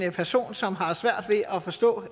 en person som har svært ved at forstå